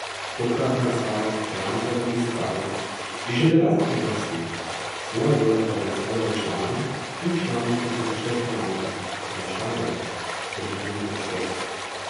Tokratna razstava Keramika v Magistratu je že deveta po vrsti, svoja dela pa predstavljajo člani in članice Društva keramikov in lončarjev ter njihovi gostje.